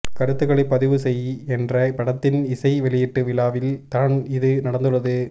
கருத்துக்களை பதிவுசெய் என்ற படத்தின் இசை வெளியீட்டு விழாவில் தான் இது நடந்துள்ளது